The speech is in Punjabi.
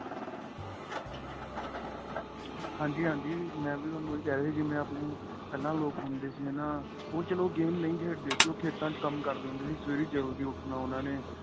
ਹਾਂਜੀ ਹਾਂਜੀ ਮੈਂਵੀ ਤੁਹਾਨੂੰ ਏਹ ਕਹਿ ਰਿਹਾ ਸੀ ਜਿਵੇਂ ਆਪਣੇਂ ਪਹਿਲਾਂ ਲੋਕ ਹੁੰਦੇ ਸੀ ਹੈਨਾ ਉਹ ਚਲੋ game ਨਹੀਂ ਖੇਡਦੇ ਸੀ ਉਹ ਖੇਤਾ ਵਿੱਚ ਕੰਮ ਕਰਦੇ ਹੁੰਦੇ ਸੀ ਸਵੇਰੇ ਜਲਦੀ ਉੱਠਣਾ ਉਹਨਾ ਨੇ